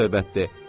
Baş söhbətdir.